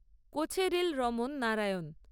Kocheril Raman Narayan